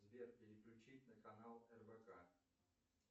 сбер переключить на канал рбк